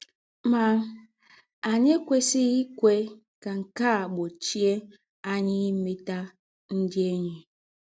Má, ányị̀ èkwèsịghị íkwé kà nkè á gbochie ányị̀ ìmétà ndị̀ ényí.